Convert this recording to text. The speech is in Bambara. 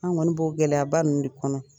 An kɔni b'o gɛlɛyaba ninnu de kɔnɔ.